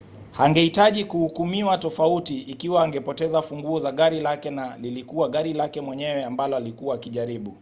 angehitaji kuhukumiwa tofauti ikiwa angepoteza funguo za gari lake na lilikuwa gari lake mwenyewe ambalo alikuwa akijaribu